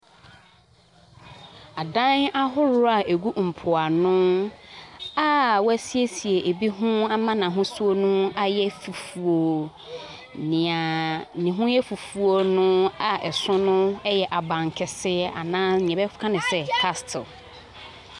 Adan ahoroɔ a ɛgu mpoano a wɔasiesie ebi ho ama n’ahosuo no ayɛ fufuo. Nea ne ho yɛ fufuo no a ɛso no yɛ abankɛseɛ anaa deɛ yɛbɛka no sɛ caslte.